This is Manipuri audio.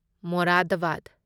ꯃꯣꯔꯥꯗꯕꯥꯗ